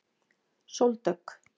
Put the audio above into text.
Sóldögg